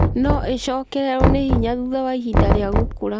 No ĩcokererũo nĩ hinya thutha wa ihinda rĩa gũkũra.